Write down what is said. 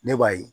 Ne b'a ye